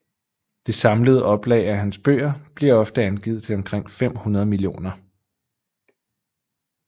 Det samlede oplag af hans bøger bliver ofte angivet til omkring 500 millioner